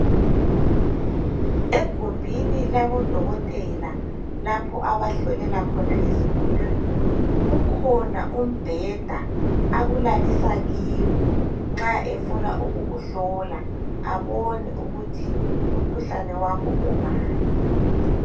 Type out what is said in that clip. Egumbini labo dokotela lapho abahlolela khona izigulane kukhona umbheda akulalisa kiwo nxa efuna ukukuhlola abone ukuthi umkhuhlane wakho ungaphi .